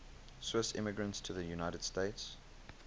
swiss immigrants to the united states